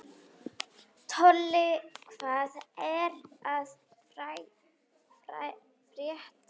Tolli, hvað er að frétta?